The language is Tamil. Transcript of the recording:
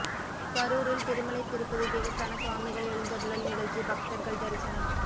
கரூரில் திருமலை திருப்பதி தேவஸ்தான சுவாமிகள் எழுந்தருளல் நிகழ்ச்சி பக்தர்கள் தரிசனம்